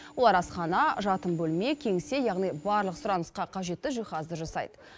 олар асхана жатын бөлме кеңсе яғни барлық сұранысқа қажетті жиһазды жасайды